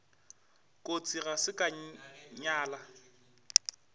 kotsi ga se ka nyala